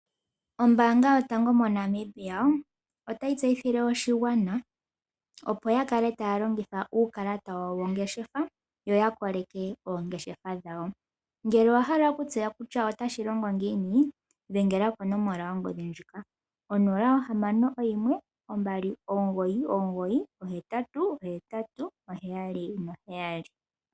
Ombaanga yotango moNamibia, otayi tseyithile oshigwana, opo shikale tashi longitha uukalata wawo wongeshefa, yo yakoleke oongeshefa dhawo. Ngele owahala okutseya kutya otashi longo ngiini, dhengela konomola yongodhi ndjika: 0612998877.